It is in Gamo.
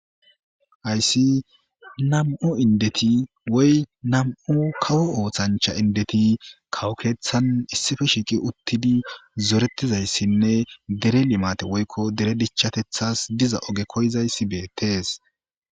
Haysi nam'u indeti woy nam'u kawo oosancha indeti kawo keethan issippe shiiqi uttidi zoretizaysinne deere limates woyko deere dichatethas diza oge koyizaysi beetes.